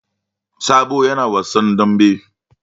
Sabo yana wasan dambe.